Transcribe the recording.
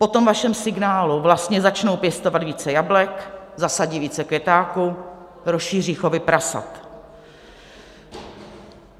Po tom vašem signálu vlastně začnou pěstovat více jablek, zasadí více květáku, rozšíří chovy prasat.